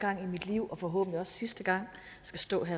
ordet